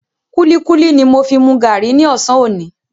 Kúlíkúlí ni mo fi mu gàárì ní ọ̀sán òní.